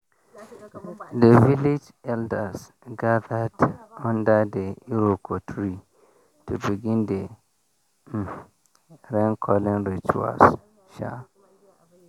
the village elders gathered under the iroko tree to begin the um rain calling rituals. um